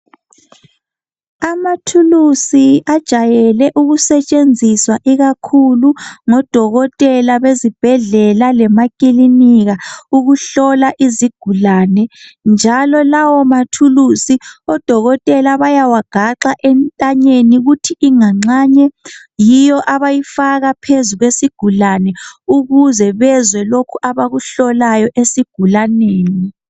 Amathulusi ajayele ukusetshenziswa ikakhulu ngo Dokotela bezibhedlela lemakilinika ukuhlola izigulane njalo lawo mathulusi oDokotela bayawagaxa entanyeni , kuthi inganxanye yiyo abayifaka phezu kwesigulane ukuze bezwe lokhu abakuhlolayo esigulaneni.